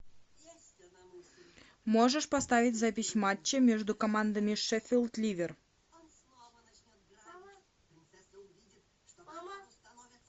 можешь поставить запись матча между командами шеффилд ливер